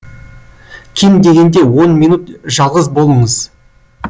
кем дегенде он минут жалғыз болыңыз